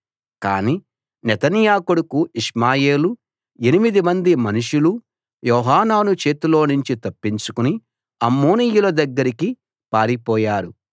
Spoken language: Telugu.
కాని నెతన్యా కొడుకు ఇష్మాయేలూ ఎనిమిదిమంది మనుషులు యోహానాను చేతిలోనుంచి తప్పించుకుని అమ్మోనీయుల దగ్గరికి పారిపోయారు